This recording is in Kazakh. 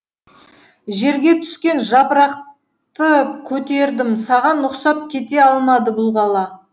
жерге түскен жапырақты көтердім саған ұқсап кете алмады бұл бұл қала